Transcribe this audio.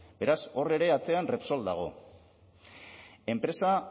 beraz hor ere atzean repsol dago enpresa